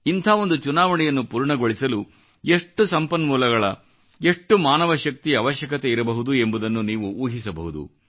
ಇಂಥ ಒಂದು ಚುನಾವಣೆಯನ್ನು ಪೂರ್ಣಗೊಳಿಸಲು ಎಷ್ಟೊಂದು ಸಂಪನ್ಮೂಲಗಳ ಮತ್ತು ಮಾನವ ಶಕ್ತಿಯ ಅವಶ್ಯಕತೆಯಿರಬಹುದು ಎಂಬುದನ್ನು ನೀವು ಊಹಿಸಬಹುದು